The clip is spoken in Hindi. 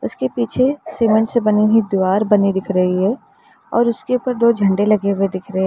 इसके पीछे सीमेंट से बनी हुई दीवार बनी दिख रही है और उसके ऊपर दो झंडे लगे हुए दिख रहे हैं।